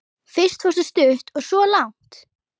Fyrst fórstu stutt og svo langt.